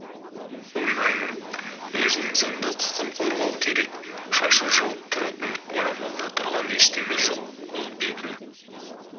ойлаймын өзінің заңды құқын қорғау керек шашын жауып тұратын орамалда тұрған ештеме жоқ ол бетін